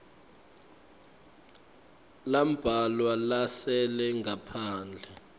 lambalwa lasele ngaphandle